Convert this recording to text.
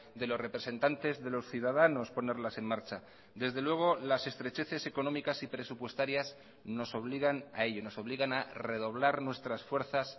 de los representantes de los ciudadanos ponerlas en marcha desde luego las estrecheces económicas y presupuestarias nos obligan a ello nos obligan a redoblar nuestras fuerzas